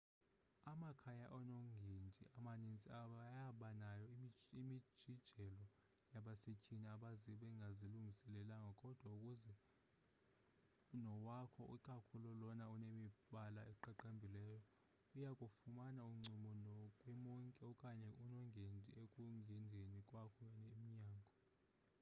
amakhaya onongendi amanintsi ayabanayo imijijelo yabasethyini abaze bengazilungiselelanga kodwa ukuba uze nowakho ikakhulu lona unemibala eqaqambileyo uyakufumana uncumo kwi monki okanye unongendi ekungeneni kwakho emnyango